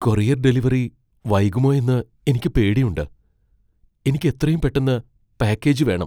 Courier delivery വൈകുമോയെന്ന് എനിക്ക് പേടിയുണ്ട്, എനിക്ക് എത്രയും പെട്ടന്ന് പാക്കേജ് വേണം.